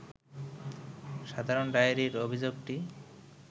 সাধারণ ডায়েরির অভিযোগটি